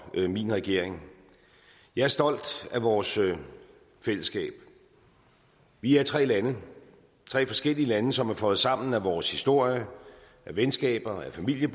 min regering jeg er stolt af vores fællesskab vi er tre lande tre forskellige lande som er føjet sammen af vores historie af venskaber og af familiære